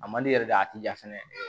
A man di yɛrɛ de a ti jan fɛnɛ